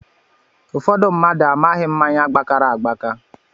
Ụfọdụ mmadụ amaghị mmáñyá gbakara agbaka